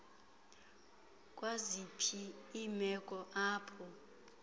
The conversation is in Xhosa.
kwaziphi iimeko apho